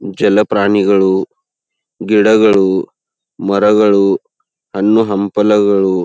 ಜಲಪ್ರಾಣಿಗಳು ಗಿಡಗಳು ಮರಗಳು ಹಣ್ಣು ಹಂಪಲಗಳು--